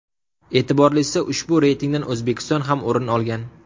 E’tiborlisi ushbu reytingdan O‘zbekiston ham o‘rin olgan.